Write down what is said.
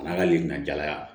A n'a ka lilɔnjala